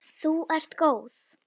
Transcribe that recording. Þú ert góð!